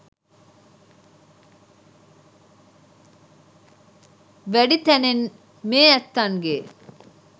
වැඩි තැනෙන් මේ ඇත්තන්ගේ